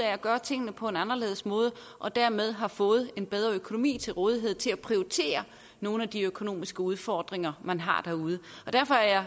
at gøre tingene på en anderledes måde og dermed har fået en bedre økonomi til rådighed til at prioritere nogle af de økonomiske udfordringer man har derude og derfor er